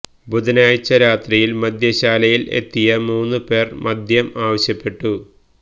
ബുധനാഴ്ച രാത്രിയില് മദ്യശാലയില് എത്തിയ മൂന്ന് പേര് മദ്യം ആവശ്യപ്പെട്ടു